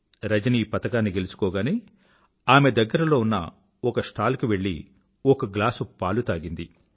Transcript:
రజని పతకాన్ని గెలుచుకోగానే ఆమె దగ్గరలో ఉన్న ఒక స్టాల్ కి వెళ్ళి ఒక గ్లాసు పాలు తాగింది